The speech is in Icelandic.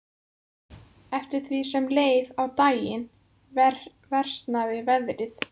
Eftir því sem leið á daginn versnaði veðrið.